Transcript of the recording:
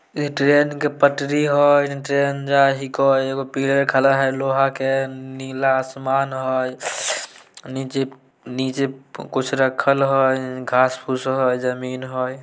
ये ट्रैन के पटरी हई। ट्रैन जा ही कई। एगो पिलर खड़ा हई लोहा के। नीला आसमान हई। निचे निचे कुछ रखल हई घास फूस हई जमीन हई।